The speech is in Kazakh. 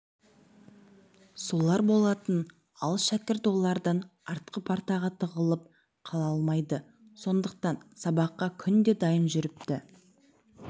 солар болатын ал шәкірт олардан артқы партаға тығылып қала алмайды сондықтан сабаққа күнде дайын жүріпті